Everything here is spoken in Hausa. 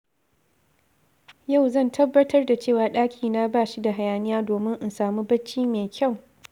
Yau zan tabbatar da cewa ɗakina ba shi da hayaniya domin in samu bacci mai kyau